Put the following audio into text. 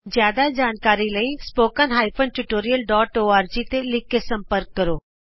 ਜਿਆਦਾ ਜਾਣਕਾਰੀ ਲਈ spoken hyphen tutorial dot org ਤੇ ਲਿਖ ਕੇ ਸੰਪਰਕ ਕਰੋ